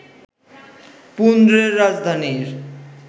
পুণ্ড্রের রাজধানীর